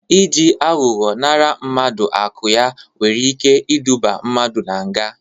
Ị ji aghọghọ nara mmadụ akụ ya nwere ike iduba mmadụ nga.